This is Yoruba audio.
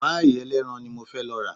Páì ẹlẹ́ran ni mo fẹ́ lọ rà